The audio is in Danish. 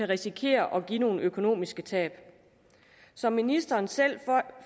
risikere at give nogle økonomiske tab som ministeren selv